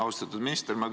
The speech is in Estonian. Austatud minister!